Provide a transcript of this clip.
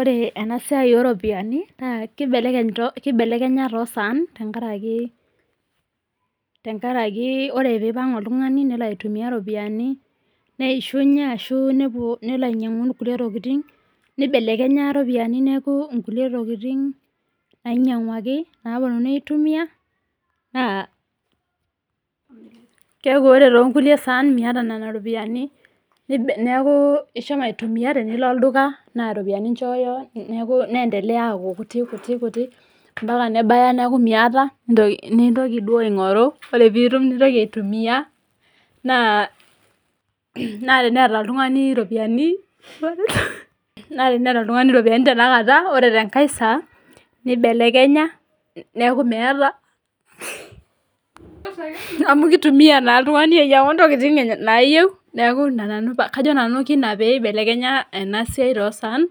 ore enasiai oo iropiyiani kibelekenya too isaan neisunye amu nibelekenya iropiyiani ore inkilie tokitin naa keeku ore too inkulie saan neeku ishomo aitumiya ,tenilo olduka nendeleya aaku kutik ampaka nebaya neeku miyata ore pee ilo aing'oru, ore pee itum neeku miyata, naa teneta oltung'ani iropiyiani naa idim ake ataasa amu kitumiya naa oltung'ani anyiang'u ,entoki nemeta neeku kajo nanu kajo kena pee ebelekenya ena siai too isaan